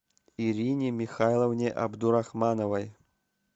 ирине михайловне абдурахмановой